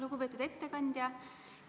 Lugupeetud ettekandja!